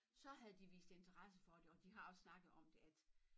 Så havde de vist interesse for det og de har også snakket om det at